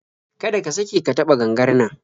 Kada ka sake ka taɓa gangar nan